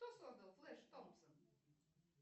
кто создал флэш томпсон